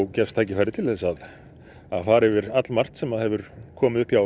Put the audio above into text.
gefst tækifæri til að fara yfir allmargt sem hefur komið upp hjá